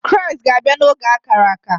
Kraịst ga-abịa n’oge ákárà ákà